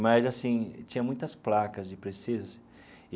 Mas, assim, tinha muitas placas de precisa-se.